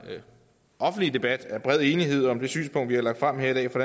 offentlige debat er bred enighed om det synspunkt vi har lagt frem her i dag fra